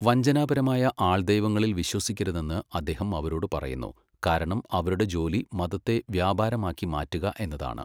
വഞ്ചനാപരമായ ആൾദൈവങ്ങളിൽ വിശ്വസിക്കരുതെന്ന് അദ്ദേഹം അവരോട് പറയുന്നു, കാരണം അവരുടെ ജോലി മതത്തെ വ്യാപാരമാക്കി മാറ്റുക എന്നതാണ്.